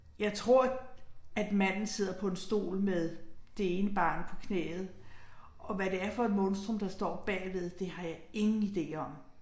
Jeg tror at manden sidder på en stol med det ene barn på knæet, og hvad det er for et monstrum der står bagved, det har jeg ingen ide om